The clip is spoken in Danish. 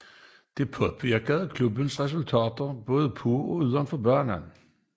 Dette påvirkede klubbens resultater både på og udenfor banen